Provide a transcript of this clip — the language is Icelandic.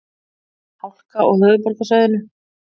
Hálka á höfuðborgarsvæðinu